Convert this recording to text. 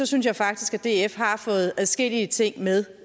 synes jeg faktisk at df har fået adskillige ting med